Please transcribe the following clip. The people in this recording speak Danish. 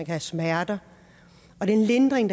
have smerter og den lindring